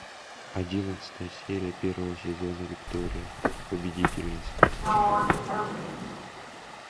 одиннадцатая серия первого сезона виктория победительница